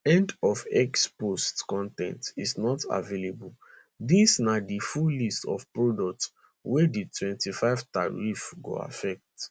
end of x post con ten t is not available dis na di full list of products wey di 25 tariff go affect